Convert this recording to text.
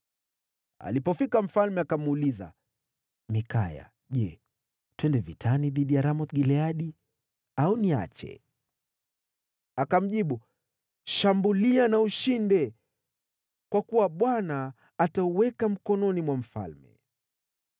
Alipofika, mfalme akamuuliza, “Mikaya, je, twende vitani dhidi ya Ramoth-Gileadi au niache?” Akamjibu, “Shambulia na ushinde, kwa kuwa Bwana atawatia mkononi mwa mfalme.”